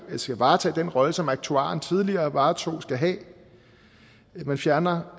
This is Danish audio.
skal varetage den rolle som aktuaren tidligere varetog skal have man fjerner